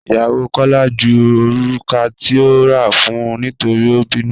Ìyàwó Kọla jú orúkà tí ò rà fún nítorí o bínú.